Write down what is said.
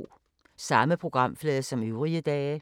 Samme programflade som øvrige dage